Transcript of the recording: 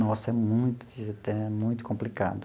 Nossa, é muito é muito complicado.